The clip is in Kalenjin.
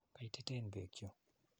Koititen peek chu.